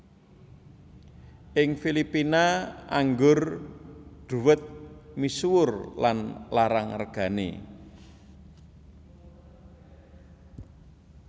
Ing Filipina anggur dhuwet misuwur lan larang regané